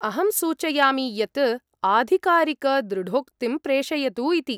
अहं सूचयामि यत् आधिकारिकदृढोक्तिं प्रेषयतु इति।